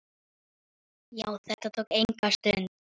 Já, þetta tók enga stund.